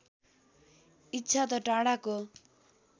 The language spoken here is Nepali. इच्छा त टाढाको